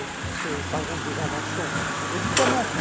Je parle, par exemple, des inventions de médicaments.